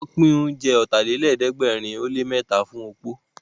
Wọ́n pín oúnjẹ Ọ̀tàlélẹ̀ẹ́dẹ́gbẹ̀rin ó lé mẹ́ta fún opó